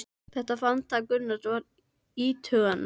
Þetta framtak Gunnars er vert íhugunar.